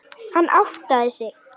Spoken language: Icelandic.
Hann áttaði sig.